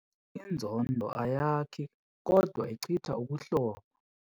Inzondo ayakhi kodwa ichitha ubuhlobo.